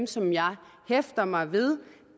som jeg hæfter mig ved